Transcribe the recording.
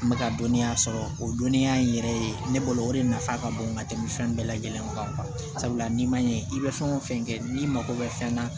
N bɛ ka dɔnniya sɔrɔ o dɔnniya in yɛrɛ ye ne bolo o de nafa ka bon ka tɛmɛ fɛn bɛɛ lajɛlen kan sabula n'i ma ɲɛ i bɛ fɛn o fɛn kɛ n'i mago bɛ fɛn na